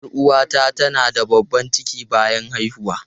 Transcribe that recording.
Yar uwata tana da babban ciki bayan haihuwa.